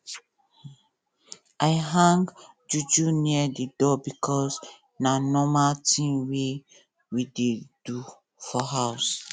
i hang juju near the door because na normal tin wey we dey do for house